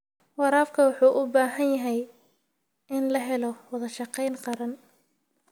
Waraabka waxa uu u baahan yahay in la helo wada shaqayn qaran.